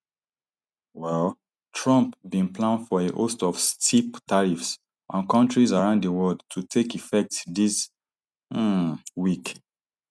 um trump bin plan for a host of steep tariffs on kontris around di world to take effect dis um week